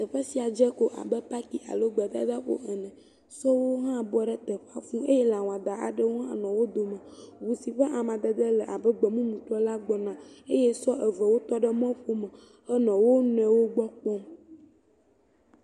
Teƒe sia dze ko abe paaki alo gbedadaƒo ene. Sɔwo hã bɔ ɖe teƒea fũuu eye lãwɔada aɖewo hã nɔ wo dome. Ŋu si ƒe amadede le abe gbemumutɔ la gbɔna. eye sɔ evewo tɔ ɖe mɔƒome henɔ wo nɔewo gbɔ kpɔm.